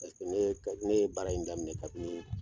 Paseke ne ye ne ye baara in daminɛ kabini